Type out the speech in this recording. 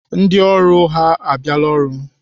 Ndị ọrụ ha abịala ọrụ?